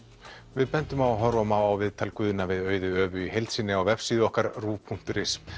við bendum á að horfa má á viðtal Guðna við Auði Övu í heild sinni á vefsíðu okkar RÚV punktur is